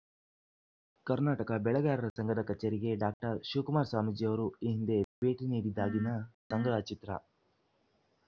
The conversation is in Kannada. ಕರ್ನಾಟಕ ಬೆಳೆಗಾರರ ಸಂಘದ ಕಚೇರಿಗೆ ಶಿವಕುಮಾರ ಸ್ವಾಮೀಜಿಯವರು ಈ ಹಿಂದೆ ಭೇಟಿ ನೀಡಿದ್ದಾಗಿನ ಸಂಗ್ರಹ ಚಿತ್ರ